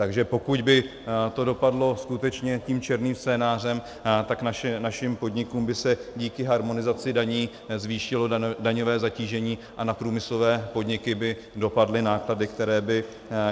Takže pokud by to dopadlo skutečně tím černým scénářem, tak našim podnikům by se díky harmonizaci daní zvýšilo daňové zatížení a na průmyslové podniky by dopadly náklady,